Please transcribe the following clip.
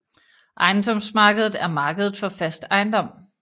Ejendomsmarkedet er markedet for fast ejendom